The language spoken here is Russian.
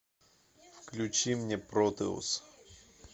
включи мне протеус